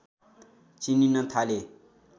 चिनिन थाले।